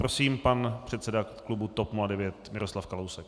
Prosím, pan předseda klubu TOP 09 Miroslav Kalousek.